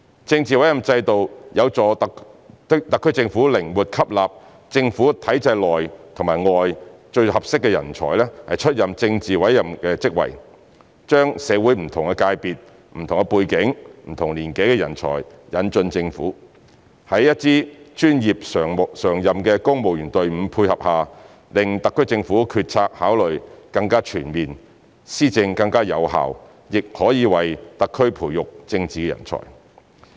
政治委任制度有助特區政府靈活吸納政府體制內、外最適合的人才出任政治委任職位，將社會不同界別、不同背景、不同年紀的人才引進政府，在一支專業常任的公務員隊伍配合下，令特區政府決策考慮更全面，施政更有效，亦可為特區培育政治人才。